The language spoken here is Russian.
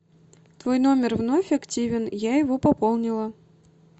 твой номер вновь активен я его пополнила